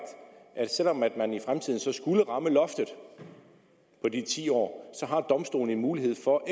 at selv om man man i fremtiden så skulle ramme loftet på de ti år så har domstolene en mulighed for